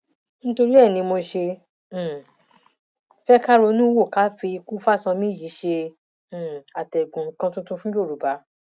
nítorí ẹ ní mo ṣe um fẹ ká ronú wò ká fi ikú fáṣánmi yìí ṣe um àtẹgùn nǹkan tuntun fún yorùbá